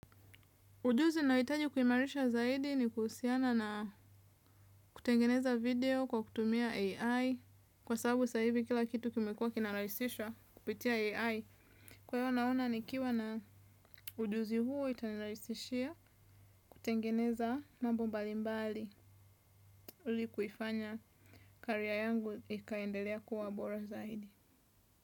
Ujuzi na hitaji kuimarisha zaidi ni kusiana na kutengeneza video kwa kutumia AI. Kwa sababu sahi kila kitu kimekua kinalaisisha kupitia AI. Kwa hiyo naona ni kiwa na ujuzi huo itanilaisishia kutengeneza mambo mbalimbali ili kuifanya career yangu ikaendelea kua bora zaidi.